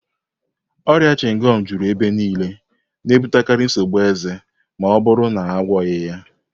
Ọrịa chịngọm juru ebe niile, na-ebutekarị nsogbu eze ma ọ bụrụ na a naghị agwọ ya